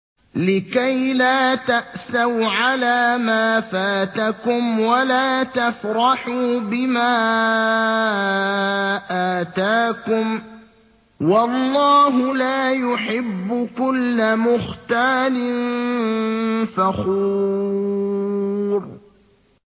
لِّكَيْلَا تَأْسَوْا عَلَىٰ مَا فَاتَكُمْ وَلَا تَفْرَحُوا بِمَا آتَاكُمْ ۗ وَاللَّهُ لَا يُحِبُّ كُلَّ مُخْتَالٍ فَخُورٍ